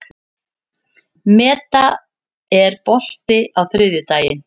Meda, er bolti á þriðjudaginn?